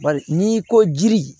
Bari n'i ko jiri